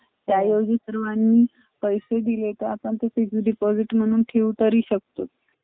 त्या ऐवजी सर्वांनी पैसे दिले तर आपण ते fix deposit म्हणून ठेव तरी शकतो.